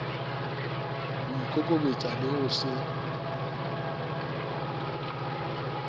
ho ikokobetsa le ho se